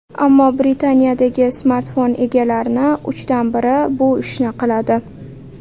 Ammo Britaniyadagi smartfon egalarining uchdan biri bu ishni qiladi.